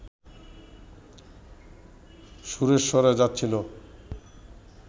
সুরেশ্বরে যাচ্ছিল